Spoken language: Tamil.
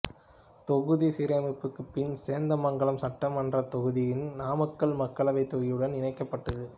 தொகுதி மறுசீரமைப்புக்கு பின் சேந்தமங்கலம் சட்டமன்ற தொகுதிதனி நாமக்கல் மக்களவைத் தொகுதியுடன் இணைக்கப்பட்டது